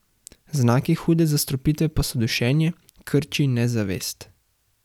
Znaki hude zastrupitve pa so dušenje, krči in nezavest.